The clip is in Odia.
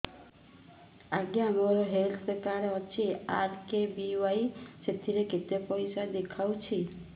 ଆଜ୍ଞା ମୋର ହେଲ୍ଥ କାର୍ଡ ଅଛି ଆର୍.କେ.ବି.ୱାଇ ସେଥିରେ କେତେ ପଇସା ଦେଖଉଛି